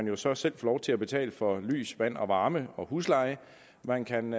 jo så selv få lov til at betale for lys vand varme og husleje man kan